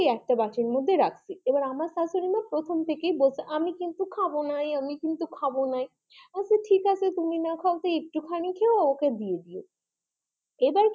একটা বাটির মধ্যে রাখছি এবার আমার শাশুড়িমা প্রথম থেকেই বলছে আমি কিন্তু খাবো নাই, আমি কিন্তু খাবো নাই, আচ্ছা ঠিক আছে তুমি না খাও একটুখানি খেয়ো ওকে দিয়ে দিও এবার কি,